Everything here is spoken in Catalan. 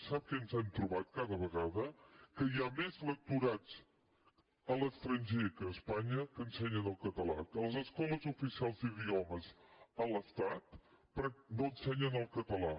sap què ens hem trobat cada vegada que hi ha més lectorats a l’estranger que a espanya que ensenyen el català que a les escoles oficials d’idiomes a l’estat no ensenyen el català